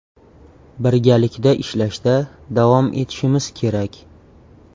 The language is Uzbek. Birgalikda ishlashda davom etishimiz kerak.